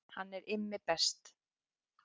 Hann er Immi best.